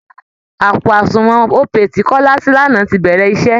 Àpò àsunwọ̀n Opay tí kọ́lá ṣí lánàá ti bẹ̀rẹ̀ iṣẹ́